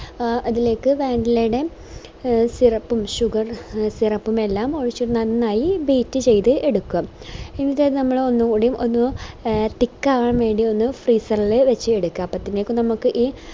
ആഹ് അതിലേക്ക് vanilla യുടെ syrup ഉം sugar ഉം എ syrup ഉം എല്ലാം ഒഴിച് നന്നായി beat ചെയ്ത എടുക്കാം എന്നിറ്റത് നമ്മള് ഒന്നും കൂടി ഒന്ന് thick ആവാൻ വേണ്ടി ഒന്ന് freezer ഇൽ വെച് എടുക്കാം